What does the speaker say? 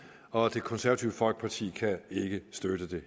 og det konservative folkeparti kan heller ikke støtte